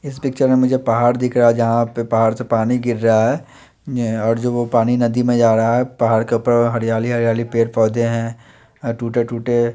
इस पिक्चर में मुझे पहाड़ दिख रहा है जहा पर पहाड़ से पानी गिर रहा है और जो वो पानी नदी में जा रहा है पहाड़ के उपर हरियाली हरियाली पेड़ पोधे है अ टूटे टूटे--